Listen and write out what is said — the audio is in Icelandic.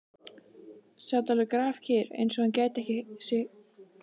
Sat alveg grafkyrr, eins og hann gæti sig ekki hrært.